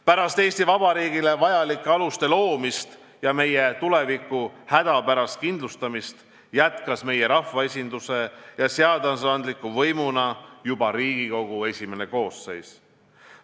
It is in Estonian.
Pärast Eesti Vabariigile vajalike aluste loomist ja meie tuleviku hädapärast kindlustamist jätkas meie rahvaesinduse ja seadusandliku võimuna juba Riigikogu I koosseis.